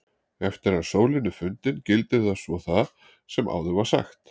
Eftir að sólin er fundin gildir svo það sem áður var sagt.